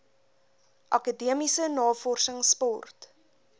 akademiese navorsings sport